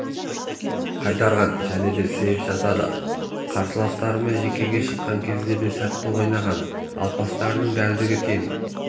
қайтарған және сэйв жасады қарсыласымен жеке шыққан кезде де сәтті ойнаған ал пастарының дәлдігі тең